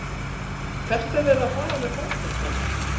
Hvert er verið að fara með fótboltann?